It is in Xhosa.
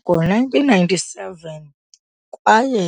Ngo-1997 kwaye